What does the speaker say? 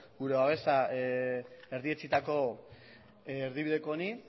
gure babesa erdietsitako erdibideko honi